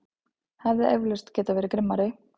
Hefði eflaust getað verið grimmari.